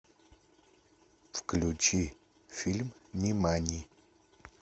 включи фильм нимани